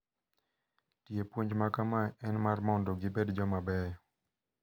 Tie puonj makama en mar mondo gibed jomabeyo.